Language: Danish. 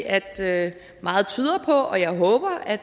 at meget tyder på og jeg håber at